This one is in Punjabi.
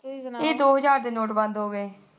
ਇਹ ਦੋ ਹਜਾਰ ਦੇ ਨੋਟ ਬੰਦ ਹੋਗੇ